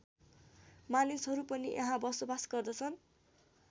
मानिसहरू पनि यहाँ बसोबास गर्दछन्